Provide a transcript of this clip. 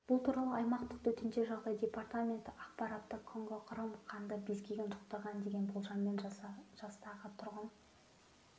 бұл туралы аймақтық төтенше жағдайлар департаменті ақпар таратты конго-қырым қанды безгегін жұқтырған деген болжаммен жастағы тұрғын